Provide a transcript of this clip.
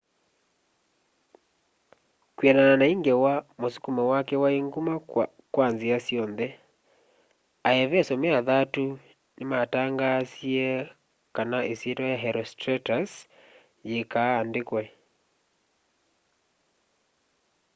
kwianana na i ngewa musukumo wake wai nguma kwa nzia syonthe aeveso me athatu ni matangaanzie kana isyitwa ya herostratus yiikaa andikwe